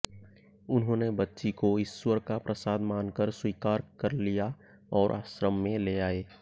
उन्होंने बच्ची को ईश्वर का प्रसाद मानकर स्वीकार कर लिया और आश्रम में ले आए